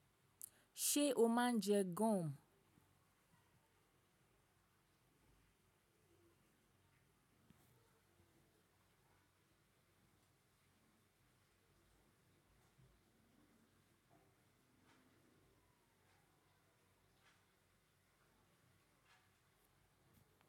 Ṣé o máa ń jẹ gum?